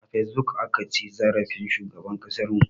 A fesbuk aka ci zarafin shugaban ƙasar mu